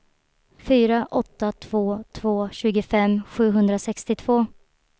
fyra åtta två två tjugofem sjuhundrasextiotvå